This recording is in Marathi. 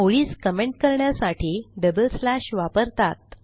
ओळीस कमेंट करण्यासाठी डबल स्लॅश वापरतात